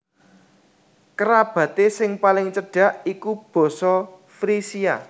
Kerabaté sing paling cedak iku basa Frisia